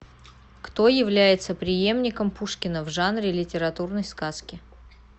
кто является преемником пушкина в жанре литературной сказки